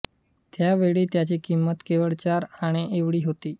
त्या वेळी त्याची किंमत केवळ चार आणे एवढी होती